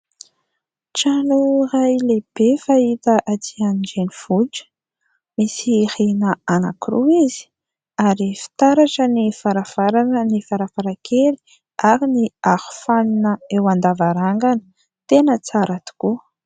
Trano iray lehibe fahita aty an-drenivohitra. Misy rihana anankiroa izy ary fitaratra ny varavarana, ny varavarankely ary ny arofanina eo an-davarangana, tena tsara tokoa.